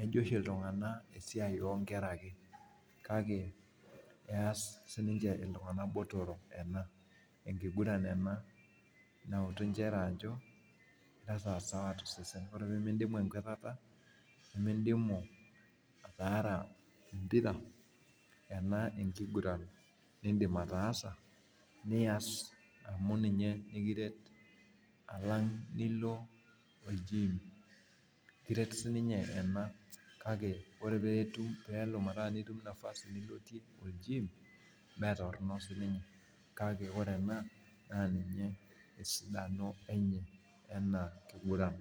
ejo oshi iltunganak esiai oonkera ake. kake ess iltunganak botorok ena, enkiguran ena. nautu nchere ejo esawa osesen. ore pee midimu enkwatata, nimidimu ataara empira. ena enkiguran nidim ataasa, nias amu ninye nikiret alang' nilo ol gym. ekiret sii ninye ena. kake ore pee itum metorono sii ninye. kake ore ene, metorono esidano enye ena kiguran.